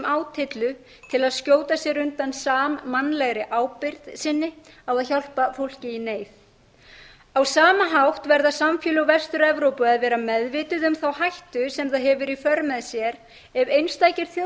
átyllu til að skjóta sér undan sammannlegri ábyrgð sinni á að hjálpa fólki í neyð á sama hátt verða samfélög vestur evrópu að vera meðvituð um þá hættu sem það hefur í för